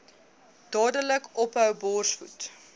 dadelik ophou borsvoed